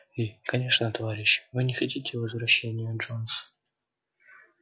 и конечно товарищи вы не хотите возвращения джонса